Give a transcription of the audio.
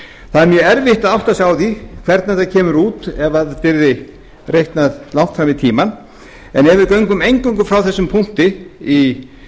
mjög erfitt að átta sig á því hvernig þetta kemur út ef þetta yrði reiknað langt fram í tímann en ef við göngum eingöngu frá þessum punkti í